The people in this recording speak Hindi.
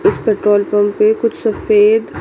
इस पेट्रोल पंप पे कुछ सफेद--